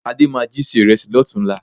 Adé máa jí se ìrẹsì lọ́tùn-únla